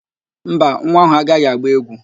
Mba, nwa áhụ̀ agaghị agba égwú